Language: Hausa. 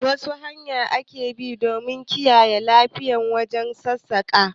Wasu hanya ne ake bi don kiyaye lafiya wajen sassaƙa?